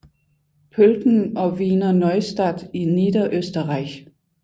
Pölten og Wiener Neustadt i Niederösterreich